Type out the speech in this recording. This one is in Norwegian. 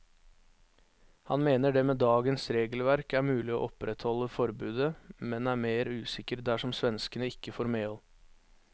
Han mener det med dagens regelverk er mulig å opprettholde forbudet, men er mer usikker dersom svenskene ikke får medhold.